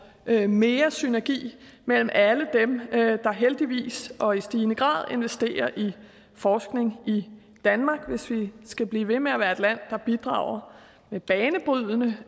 mere synergi mellem alle dem der heldigvis og i stigende grad investerer i forskning i danmark hvis vi skal blive ved med at være et land der bidrager med banebrydende